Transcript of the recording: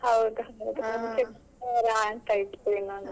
ಹೌದೌದು ಅಂತ ಇತ್ತು ಇನ್ನೊಂದು.